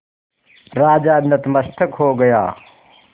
राजा नतमस्तक हो गया